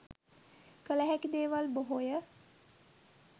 කල හැකි දේවල් බොහෝය.